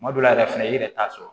Kuma dɔw la yɛrɛ fɛnɛ i yɛrɛ t'a sɔrɔ